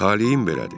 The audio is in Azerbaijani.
Taleyim belədir.